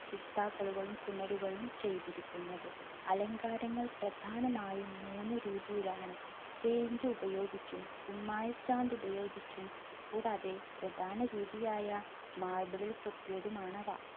ചുമരുകളും ചെയ്തിരിക്കുന്നത്. അലങ്കാരങ്ങൾ പ്രദാനമായും മൂന്ന് രീതിയിൽ ആണ്. paint ഉപയോഗിച്ചും, കുമ്മായ ചാന്ത് ഉപയോഗിച്ചും, കൂടാതെ പ്രദാന രീതിയായ marble ൽ കൊത്തിയതുമാണവ.